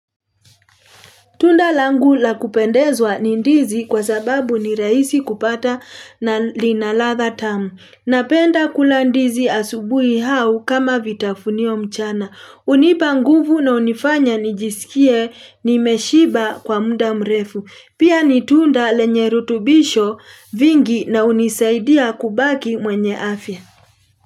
Tunda langu la kupendezwa nindizi kwa sababu ni rahisi kupata na linaladha tamu. Napenda kula ndizi asubuhi au kama vitafunio mchana. Hunipa nguvu na hunifanya nijisikie nimeshiba kwa mda mrefu. Pia nitunda lenye rutubisho vingi na hunisaidia kubaki mwenye afya.